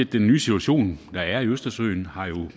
den nye situation der er i østersøen